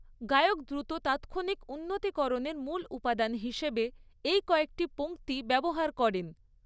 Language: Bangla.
গায়ক দ্রুত তাৎক্ষণিক উন্নতিকরণের মূল উপাদান হিসেবে এই কয়েকটি পঙ্ক্তি ব্যবহার করেন।